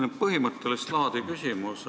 Mul on põhimõttelist laadi küsimus.